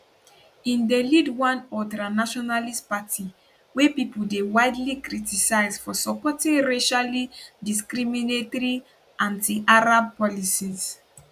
im dey lead one ultranationalist party wey pipo dey widely criticise for supporting racially discriminatory antiarab policies